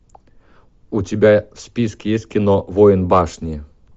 у тебя в списке есть кино воин башни